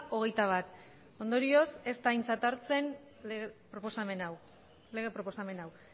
hogeita bat ondorioz ez da aintzat hartzen proposamen hau lege proposamen hau